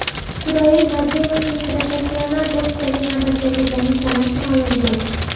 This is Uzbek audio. Isroil Madrimovning professional boksdagi navbatdagi jangi sanasi ma’lum bo‘ldi.